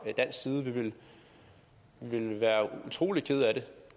dansk side vi ville blive utrolig kede af det